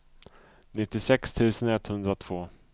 nittiosex tusen etthundratvå